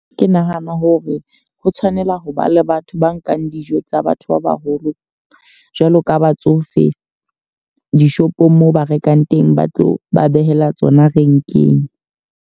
Ke nahana hore ha tshwanela ho ba le batho ba nkang dijo tsa batho ba baholo jwaalo ka batsofe, dishopong moo ba rekang teng ba tlo ba behela tsona renkeng.